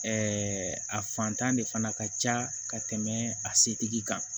a fantan de fana ka ca ka tɛmɛ a setigi kan